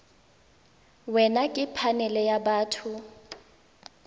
wena ke phanele ya batho